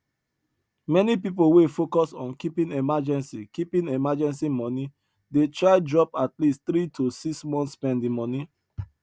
many people wey focus on keeping emergency keeping emergency money dey try drop atleast three to six month spending money